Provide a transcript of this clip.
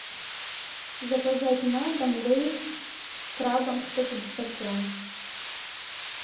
заказать на дом лейс с крабом сто пятьдесят грамм